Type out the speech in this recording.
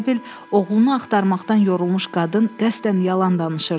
Elə bil oğlunu axtarmaqdan yorulmuş qadın qəsdən yalan danışırdı.